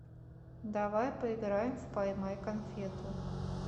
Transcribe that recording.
давай поиграем в поймай конфету